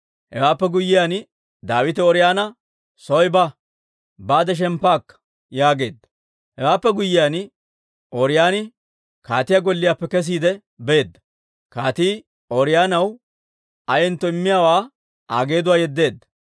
Hewaappe guyyiyaan Daawite Ooriyoona, «Soy ba; baade shemppa akka» yaageedda; hewaappe guyyiyaan Ooriyooni kaatiyaa golliyaappe kesiide beedda; kaatii Ooriyoonaw ayentto immiyaawaa Aa geeduwaa yeddeedda.